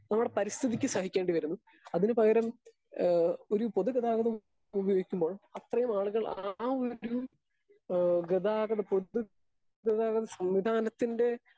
Speaker 2 നമ്മടെ പരിസ്ഥിതിക്ക് സഹിക്കേണ്ടിവരുന്നു. അതിനു പകരം ഏ ഒരു പൊതുഗതാഗതം ഉപയോഗിക്കുമ്പോൾ അത്രയും ആളുകൾ ആ ഒരു ഏഹ് ഗതാഗത പൊതുഗതാഗത സംവിധാനത്തിൻ്റെ